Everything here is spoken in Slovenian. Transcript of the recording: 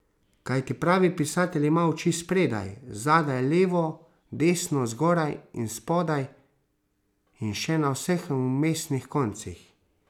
Kajti pravi pisatelj ima oči spredaj, zadaj, levo, desno, zgoraj in spodaj in še na vseh vmesnih koncih.